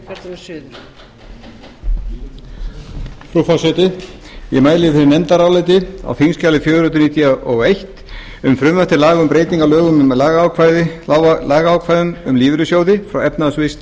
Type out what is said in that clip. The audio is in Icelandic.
frú forseti ég mæli fyrir nefndaráliti á þingskjali fjögur hundruð níutíu og eitt um frumvarp til laga um breytingu á lögum um lagaákvæði um lífeyrissjóði frá efnahags og